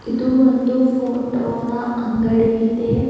ಇದು ಒಂದು ಫೋಟೋ ನ ಅಂಗಡಿ ಇದೆ.